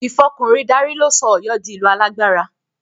Ìfọkùnrin darí ló sọ Ọ̀yọ́ di ìlú alágbára